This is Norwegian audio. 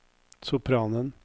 sopranen